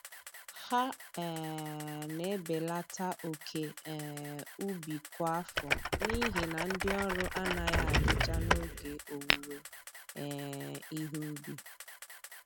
Ha um na-ebelata oke um ubi kwa afọ n'ihi na ndị ọrụ anaghị adịcha n'oge owuwe um ihe ubi